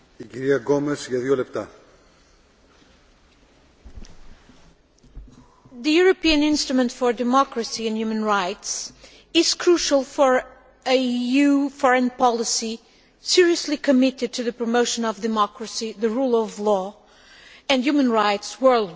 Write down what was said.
Mr President, the European instrument for democracy and human rights is crucial for an EU foreign policy seriously committed to the promotion of democracy, the rule of law and human rights worldwide.